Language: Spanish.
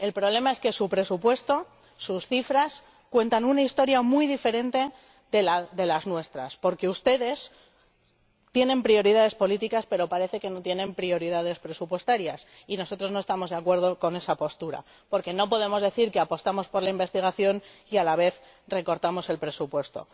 El problema es que su presupuesto, sus cifras cuentan una historia muy diferente de las nuestras, porque ustedes tienen prioridades políticas, pero parece que no tienen prioridades presupuestarias, y nosotros no estamos de acuerdo con esa postura, porque no podemos decir que apostamos por la investigación y, a la vez, recortamos el presupuesto.